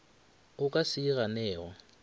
o ka se e ganego